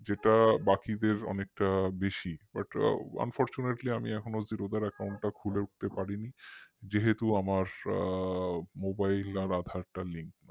যেটা বাকিদের অনেকটা বেশি but unfortunately আমি এখনো zero দার account টা খুলে উঠতে পারিনি যেহেতু আমার mobile আর aadhar টা নেই